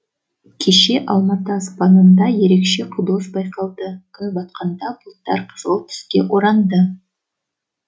кеше алматы аспанында ерекше құбылыс байқалды күн батқанда бұлттар қызғылт түске оранды